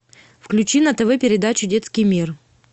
включи на тв передачу детский мир